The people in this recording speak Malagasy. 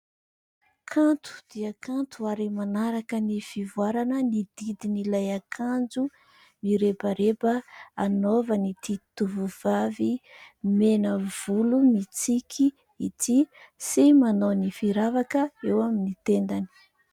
Kanto dia kanto ary manaraka ny fivoarana ny didin'ilay akanjo mirebareba anaovan'ity tovovavy mena vola mitsiky ity sy manao ny firavaka eo amin'ny tendany.